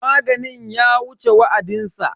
Maganin ya wuce wa'adinsa.